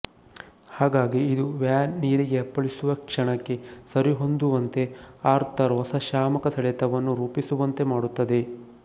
ಹಾಗಾಗಿ ಇದು ವ್ಯಾನ್ ನೀರಿಗೆ ಅಪ್ಪಳಿಸುವ ಕ್ಷಣಕ್ಕೆ ಸರಿಹೊಂದುವಂತೆ ಆರ್ಥರ್ ಹೊಸ ಶಾಮಕ ಸೆಳೆತವನ್ನು ರೂಪಿಸುವಂತೆ ಮಾಡುತ್ತದೆ